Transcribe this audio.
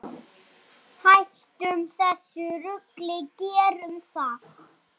Hættum þessu rugli, gerum það!